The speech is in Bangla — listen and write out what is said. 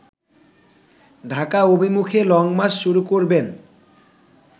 ডাকা অভিমুখে লংমার্চ শুরু করবেন